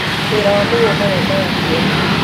Wĩra wa mũgũnda wendaga kĩyo.